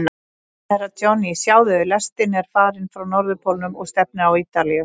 Herra Johnny, sjáðu, lestin er farin frá Norðurpólnum og stefnir á Ítalíu.